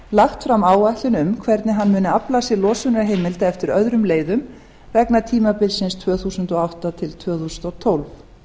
lagt fram áætlun um hvernig hann muni afla sér losunarheimilda eftir öðrum leiðum vegna tímabilsins tvö þúsund og átta til tvö þúsund og tólf